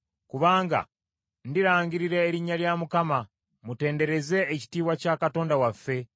Kubanga ndirangirira erinnya lya Mukama ; mutendereze ekitiibwa kya Katonda waffe!